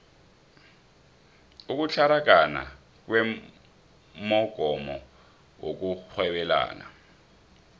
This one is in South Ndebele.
ukutlaragana kwemogomo yokurhwebelana